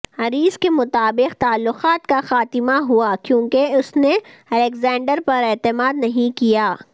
اریس کے مطابق تعلقات کا خاتمہ ہوا کیونکہ اس نے الیگزینڈر پر اعتماد نہیں کیا